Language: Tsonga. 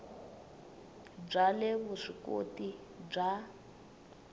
bya le vusw ikoti bya